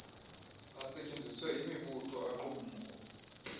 asetyenziswe yimibutho aaqumrhu